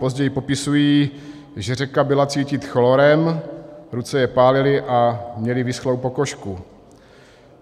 Později popisují, že řeka byla cítit chlorem, ruce je pálily a měli vyschlou pokožku.